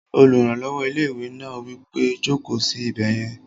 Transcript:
Olùrànlọ́wọ́ ilé-ìwé náà wí pé, "Jòkó sí ibẹ̀ yẹn!"